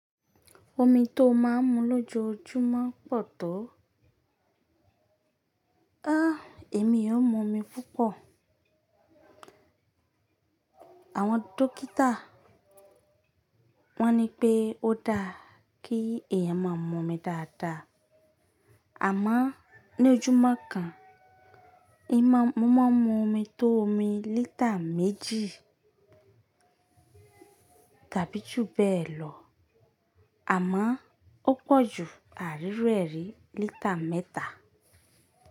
Omi tó máa ń mu lójoojúmọ́ pọ̀ tó. Áàh, èmi òn mu omi púpọ̀. Àwọn dókítà wọ́n ní pé ó dáa kí èèyàn máa ma mu omi dáadáa. Àmọ ní ojúmọ́ kan, in má mu omi tó omi litre méjì tàbí jù bẹ́ẹ̀ lọ, àmọ̀ ó pọ̀jù àríruẹ́ ri litre mẹ́ta.